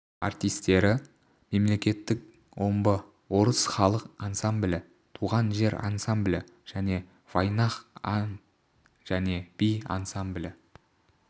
артистері мемлекеттік омбы орыс халық ансамблі туған жер ансамблі және вайнах ән және би ансамблі